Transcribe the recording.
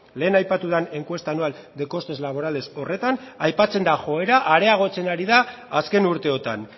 lehen aipatu den encuesta anual de costes laborales horretan aipatzen da joera areagotzen ari da azken urteotan